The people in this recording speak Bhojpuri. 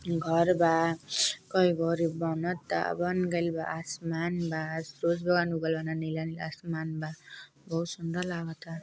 घर बा। कई घर बनता बन गइल बा। आसमान बा। खूब बन गइल बा। नीला नीला असमान बा। बहुत सुन्दर लागता।